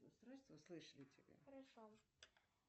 устройства слышали тебя хорошо